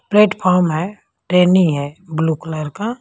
Platform है ट्रेनी है ब्लू कलर का।